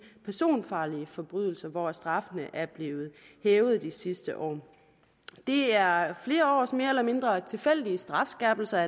personfarlige forbrydelser hvor straffene er blevet hævet de sidste år det er flere års mere eller mindre tilfældige strafskærpelser